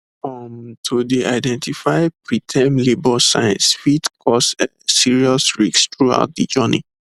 um to dey identify preterm labour signs fit cause um serious risks throughout de journey